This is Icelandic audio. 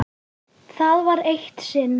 Það var eitt sinn.